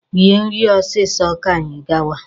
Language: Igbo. Rie nri ọsịsọ ka anyị gawa!